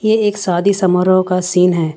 ये एक शादी समारोह का सीन है।